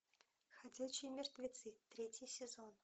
ходячие мертвецы третий сезон